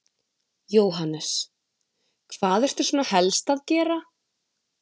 Jóhannes: Hvað ertu svona helst að gera?